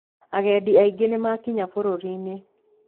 Agendi aingĩ nĩmakinya bũrũriĩnĩ.